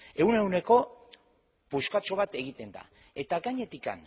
ehuneko ehun puskatxo bat egiten da eta gainetik